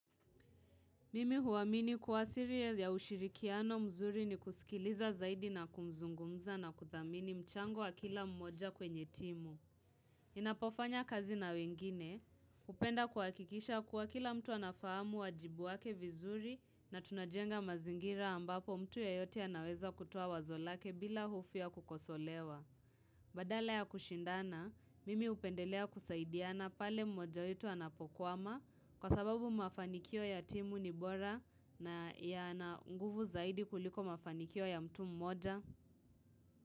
Mimi huamini kuwa siri ya ushirikiano mzuri ni kusikiliza zaidi na kumzungumza na kuthamini mchango wa kila mmoja kwenye timu. Ninapofanya kazi na wengine, upenda kuhakikisha kuwa kila mtu anafahamu wajibu wake vizuri na tunajenga mazingira ambapo mtu yoyote anaweza kutoa wazo lake bila hofu ya kukosolewa. Badala ya kushindana, mimi upendelea kusaidiana pale mmoja wetu anapokwama kwa sababu mafanikio ya timu ni bora na yana nguvu zaidi kuliko mafanikio ya mtu mmoja.